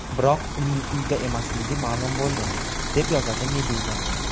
Biroq uning uyda emasligi ma’lum bo‘ldi, deb yozadi Meduza.